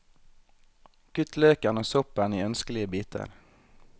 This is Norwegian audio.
Kutt løken og soppen i ønskelige biter.